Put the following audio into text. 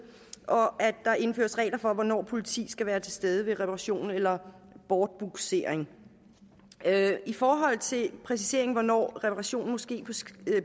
og at der indføres regler for hvornår politiet skal være til stede ved reparation eller bortbugsering i forhold til præcisering af hvornår reparationen må ske